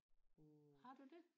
har du det